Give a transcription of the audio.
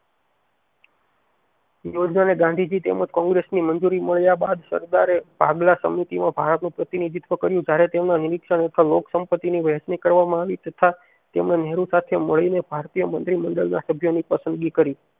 ઈ યોજનાં ને ગાંધીજી તેમજ કોગ્રેસ ની મન્જુરી મળ્યા બાદ સરદારે ભાગલા સંમતિ માં ભારતનું પ્રતિનિધત્વ કર્યું જયારે તેમના હેઠળ લોક સંપત્તિ ની વેંચણી કરવામાં આવી તથા તેમણે નહેરુ સાથે મળીને ભારતીય મંત્રી મંડળ ના સભ્ય ની પસંદગી કરી